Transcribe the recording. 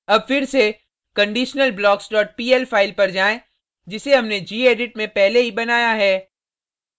अब फिर से conditionalblockspl फाइल पर जाएँ जिसे हमने gedit में पहले ही बनाया है